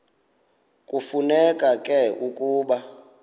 kufuneka ke ukuba